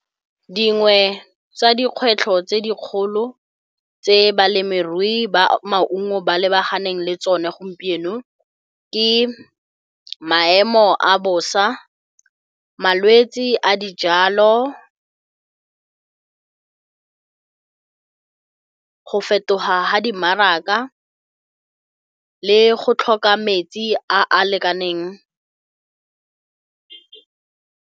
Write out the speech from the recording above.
Dingwe tsa dikgwetlho tse dikgolo tse balemirui ba maungo ba lebaganeng le tsone gompieno ke maemo a bosa, malwetse a dijalo, go fetoga ga dimmaraka le go tlhoka metsi a a lekaneng.